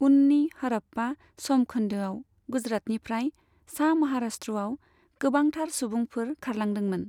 उननि हड़प्पा समखोन्दोआव गुजरातनिफ्राय सा महाराष्ट्रआव गोबांथार सुबुंफोर खारलांदोंमोन।